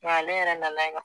Nga ale yɛrɛ nana ye kuwa